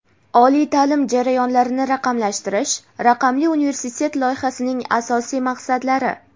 Oliy taʼlim jarayonlarini raqamlashtirish: Raqamli universitet loyihasining asosiy maqsadlari:.